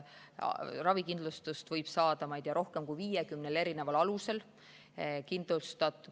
Ravikindlustust võib saada, ma ei tea, rohkem kui 50 alusel.